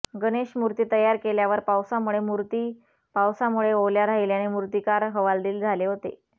गणेशमूर्ती तयार केल्यावर पावसामुळे मूर्ती पावसामुळे ओल्या राहिल्याने मूर्तीकार हवालदील झाले होते